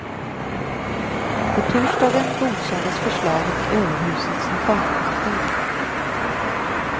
På torsdagen godkändes förslaget i överhusets reformkommission.